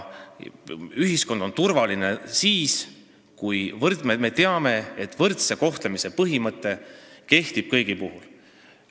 Ühiskond on turvaline siis, kui me teame, et võrdse kohtlemise põhimõte kehtib kõigi kohta.